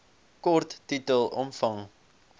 kort titel omvang